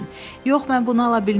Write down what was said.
Yox, mən bunu ala bilmərəm.